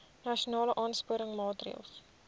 nasionale aansporingsmaatre ls